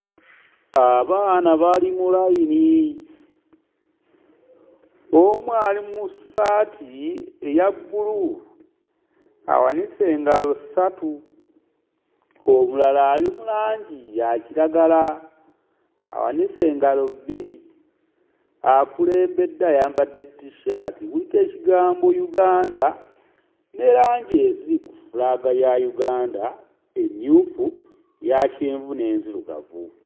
Abaana bali mu layini, omu ali mu ssaati eya bbulu awanise engalo ssatu, omulala ali mu langi ya kiragala awanise engalo bbiri, akulembedde ayambadde t-shirt kuliko ekigambo Uganda ne langi eziri ku fulaaga ya Uganda emmyufu, eya kyenvu n'enzirugavu.